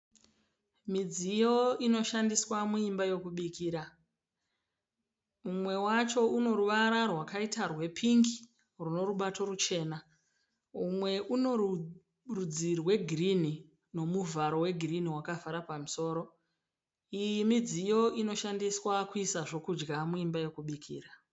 Midziyo inoshandiswa muimba yokubikira. Mumwe wacho unoruvara rwakaita rwepingi runomubato muchena. Umwe unorudzi rwegirini nomuvharo wegirini wakavhara pamusoro. Iyi midziyo inoshandiswa kuisa zvokudya muimba yekubikira.